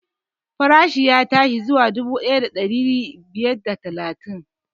Farashin ya tashi zuwa dubu ɗaya da ɗari biyar da talatin